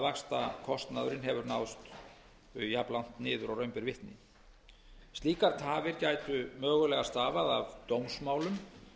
vaxtakostnaðurinn hefur náðst jafnlangt niður og raun ber vitni slíkar tafir gætu mögulega stafað af dómsmálum